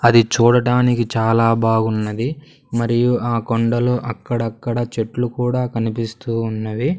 అది చూడడానికి చాలా బాగున్నది మరియు ఆ కొండలు అక్కడక్కడా చెట్లు కూడా కనిపిస్తూ ఉన్నవి.